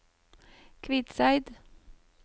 Kvitseid